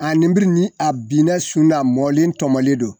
nin biri ni a binn'a sun na mɔlen tɔmɔlen don